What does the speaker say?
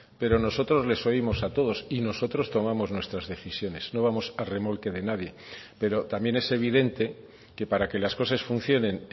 pero nosotros les oímos a todos y nosotros tomamos nuestras decisiones no vamos a remolque de nadie pero también es evidente que para que las cosas funcionen